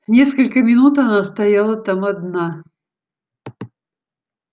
несколько минут она стояла там одна